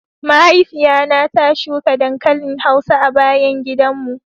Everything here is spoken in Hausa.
Mahaifiya na ta shuka dankalin hausa a gaban gidan mu.